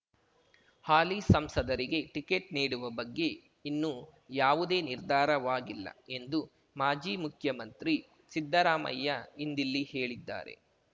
ಹಾಲಿ ಸಂಸದರಿಗೆ ಟಿಕೆಟ್ ನೀಡುವ ಬಗ್ಗೆ ಇನ್ನೂ ಯಾವುದೇ ನಿರ್ಧಾರವಾಗಿಲ್ಲ ಎಂದು ಮಾಜಿ ಮುಖ್ಯಮಂತ್ರಿ ಸಿದ್ದರಾಮಯ್ಯ ಇಂದಿಲ್ಲಿ ಹೇಳಿದ್ದಾರೆ